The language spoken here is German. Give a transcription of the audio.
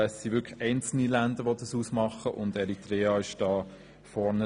Es sind wirklich einzelne Länder, die dies ausmachen, und Eritrea liegt vorn.